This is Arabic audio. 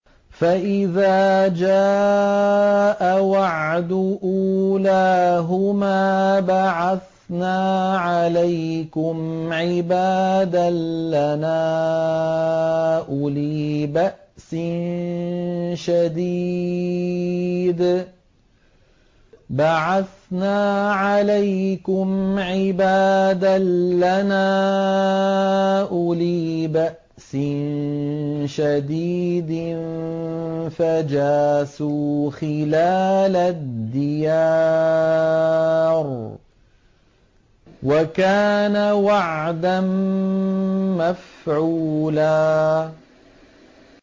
فَإِذَا جَاءَ وَعْدُ أُولَاهُمَا بَعَثْنَا عَلَيْكُمْ عِبَادًا لَّنَا أُولِي بَأْسٍ شَدِيدٍ فَجَاسُوا خِلَالَ الدِّيَارِ ۚ وَكَانَ وَعْدًا مَّفْعُولًا